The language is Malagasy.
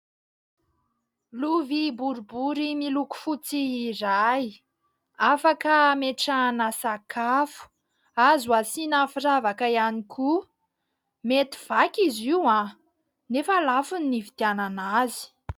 Lovia boribory miloko fotsy iray afaka ametrahana sakafo, azo asiana firavaka ihany koa. Mety vaky izy io ! Nefa lafo ny nividianana azy.